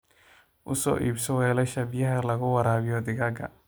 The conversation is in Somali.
U soo iibso weelasha biyaha lagu waraabiyo digaagga.